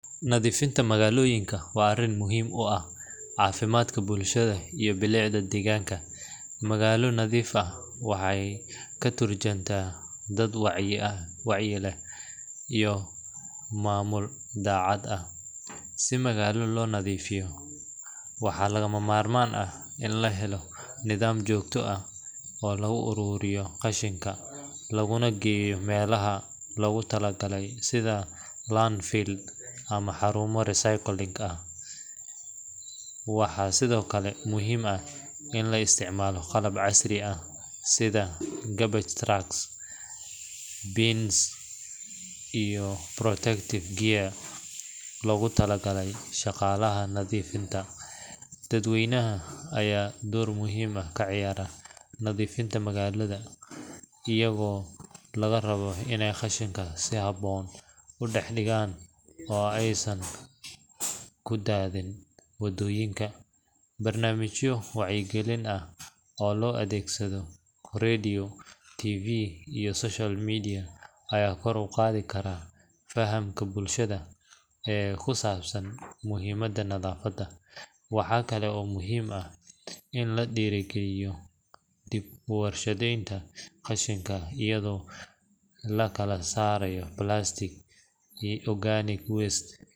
Nadiifinta magaalaoyinka waa arin muhiim u ah caafimaadka bulshada iyo bulicda deegganka, magaalo nadiif ah waxay katurjunta dad wacyi leh iyo dacad ah si maagala loo nadiifiyo waxaa laga Mar man ah in lahelo nidam jogta ah oo lugu ururiyo luguna geeye melaha logu tala galay sida landfield ama xarumo recycling ah, waxaa sidokale muhiim ah in la isticmaalo qalab casri ah sida garbage tracks, beans and protective gear, loga tala galay shaqalaha nadiifinta, dad weynaha aya door muhiim ah kaciyaara nadiifinta magalada iyago laga rabaa inay kashinkaas si haboon u dhax dhigaan oo aysan kudaadinin wadooyinka, marnamijyo wacyi gelin ah loo adeegso radio, TV iyo social media aya kor uqaadi fahamla bulshada kusabsan muhiimada nadaafada in la dhiiri geliyo dib uwadrashadeynta qashinka iyado lakala saarayo plastic and organic waste